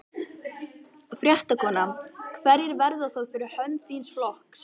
Fréttakona: Hverjir verða það fyrir hönd þíns flokks?